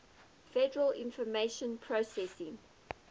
federal information processing